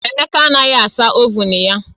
Emeka anaghị asa ovuun ya